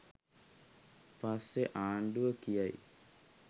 පස්සෙ ආණ්ඩුව කියයි